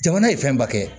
Jamana ye fɛnba kɛ